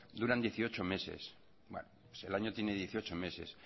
duran dieciocho meses bueno el año tiene dieciocho meses